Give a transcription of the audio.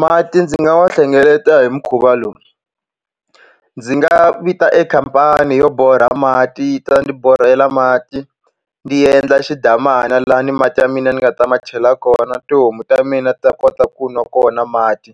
Mati ndzi nga wa hlengeleta hi mukhuva lowu ndzi nga vita e khampani yo borha mati yi ta ni borhela mati ni endla xidamana lani mati ya mina ni nga ta ma chela kona tihomu ta mina ta kota ku nwa kona mati